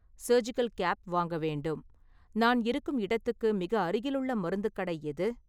Surgical cap வாங்க வேண்டும், நான் இருக்கும் இடத்துக்கு மிக அருகிலுள்ள மருத்துக் கடை எது?